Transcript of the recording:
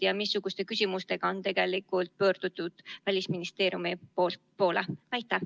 Ja missuguste küsimustega on pöördutud Välisministeeriumi poole?